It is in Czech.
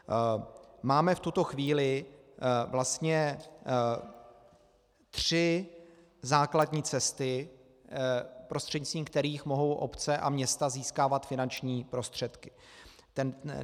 Máme v tuto chvíli vlastně tři základní cesty, prostřednictvím kterých mohou obce a města získávat finanční prostředky.